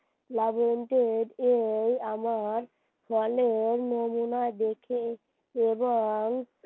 লবন্তের যে আমার দেখেই এবং